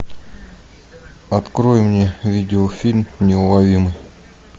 открой мне видеофильм неуловимый